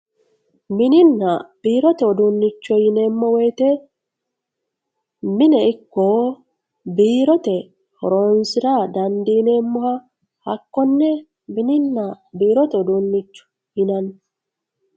mininna biirote uduunnicho yineemmo woyte mine ikko biirote horoonsira dandiineemmoha hakkonne mininna biirote uduunnicho yinanni